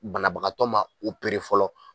Banabagatɔ ma opere fɔlɔ.